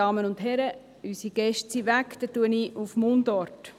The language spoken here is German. Dann spreche ich Mundart.